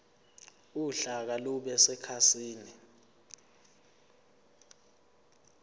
uhlaka lube sekhasini